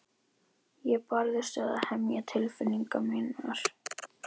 Ég barðist við að hemja tilfinningar mínar.